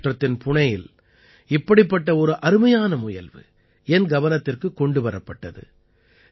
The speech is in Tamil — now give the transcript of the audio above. மஹாராஷ்டிரத்தின் புணேயில் இப்படிப்பட்ட ஒரு அருமையான முயல்வு என் கவனத்திற்குக் கொண்டு வரப்பட்டது